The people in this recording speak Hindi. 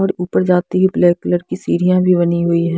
और ऊपर जाती हुई ब्लैक कलर की सीडीया भी बनी हुई है।